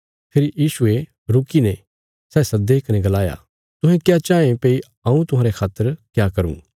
फेरी यीशुये रुकीने सै सद्दे कने गलाया तुहें क्या चाँये भई हऊँ तुहांरे खातर क्या करूँ